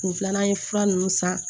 Kun filanan ye fura nunnu san